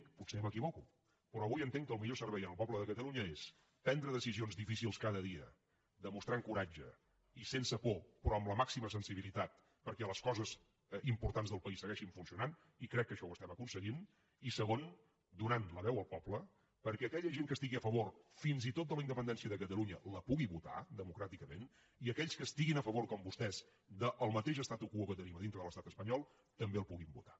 potser m’equivoco però avui entenc que el millor servei al poble de catalunya és prendre decisions difícils cada dia demostrant coratge i sense por però amb la màxima sensibilitat perquè les coses importants del país segueixin funcionant i crec que això ho estem aconseguint i segon donant la veu al poble perquè aquella gent que estigui a favor fins i tot de la independència de catalunya la pugui votar democràticament i aquells que estiguin a favor com vostès del mateix statu quotambé el puguin votar